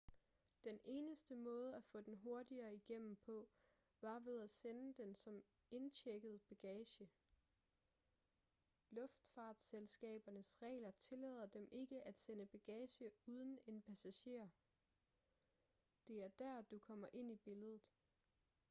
den eneste måde at få den hurtigere igennem på var ved at sende den som indchecket bagage luftfartsselskabernes regler tillader dem ikke at sende bagage uden en passager det er der du kommer ind i billedet